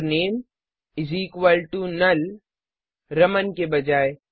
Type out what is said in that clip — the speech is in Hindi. और name is equal to null Raman के बजाय